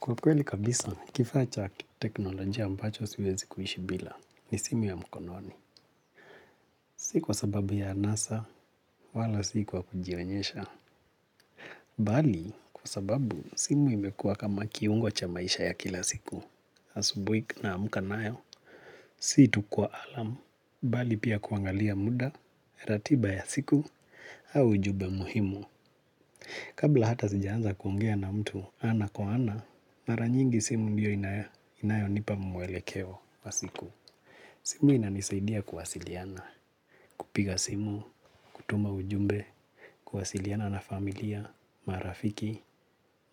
Kwa kweli kabisa, kifaa cha teknolojia ambacho siwezi kuishi bila ni simu ya mkononi. Si kwa sababu ya anasa, wala si kwa kujionyesha. Mbali, kwa sababu simu imekua kama kiungo cha maisha ya kila siku, asubuhi tunaamka nayo. Si tu kwa kengele, mbali pia kuangalia muda, ratiba ya siku, au ujumbe muhimu. Kabla hata sijaanza kuongea na mtu ana kwa ana, mara nyingi simu ndiyo inayonipa mwelekeo wa siku. Simu inanisaidia kuwasiliana, kupiga simu, kutuma ujumbe, kuwasiliana na familia, marafiki,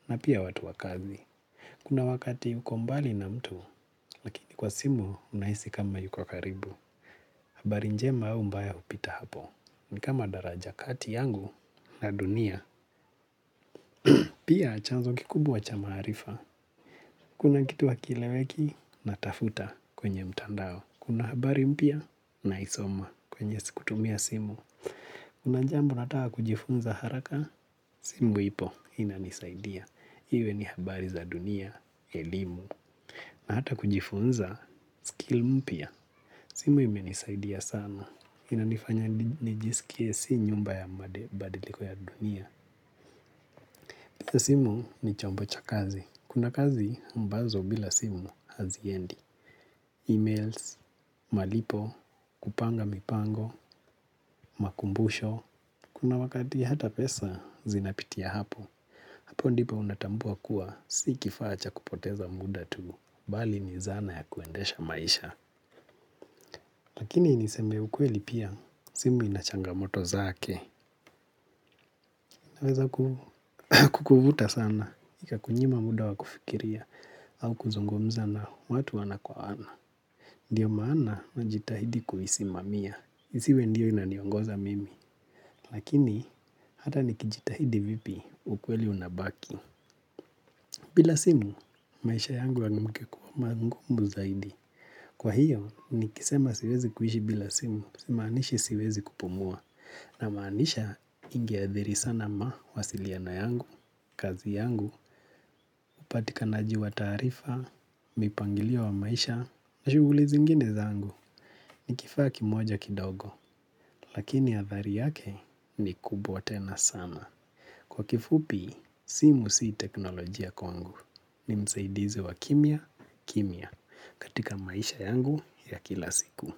na pia watu wakazi. Kuna wakati uko mbali na mtu, lakini kwa simu unahisi kama yuko karibu. Habari njema au mbaya upita hapo, ni kama daraja kati yangu na dunia. Pia chanzo kikubwa cha maarifa. Kuna kitu hakieleweki natafuta kwenye mtandao. Kuna habari mpya naisoma kwenye kutumia simu. Kuna jambo nataka kujifunza haraka. Simu ipo inanisaidia. Iwe ni habari za dunia, elimu. Na hata kujifunza skill mpya. Simu imenisaidia sana. Inanifanya nijisikie si nyumba ya mabadiliko ya dunia. Simu ni chombo cha kazi. Kuna kazi ambazo bila simu haziendi E-mails, malipo, kupanga mipango, makumbusho. Kuna wakati hata pesa zinapitia hapo. Hapo ndipo unatambua kuwa si kifaa cha kupoteza muda tu. Mbali ni zana ya kuendesha maisha. Lakini niseme ukweli pia simu inachangamoto zake. Inaweza kukuvuta sana. Ika kunyima muda wa kufikiria au kuzungumza na watu ana kwa ana. Ndio maana na jitahidi kuhisimamia, isiwe ndiyo inaniongoza mimi, lakini hata nikijitahidi vipi ukweli unabaki. Bila simu, maisha yangu yangekuwa mangumu zaidi. Kwa hiyo, nikisema siwezi kuhishi bila simu, simaanishi siwezi kupumua. Na maanisha ingeadhiri sana mawasiliano yangu, kazi yangu, upatikanaji wa taarifa, mipangilio wa maisha, nashughuli zingine zangu. Ni kifaa kimoja kidogo, lakini athari yake ni kubwa tena sana. Kwa kifupi, simu sii teknolojia kwangu. Ni msaidize wa kimia, kimia katika maisha yangu ya kila siku.